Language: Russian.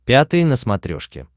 пятый на смотрешке